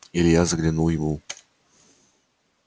илья заглянул ему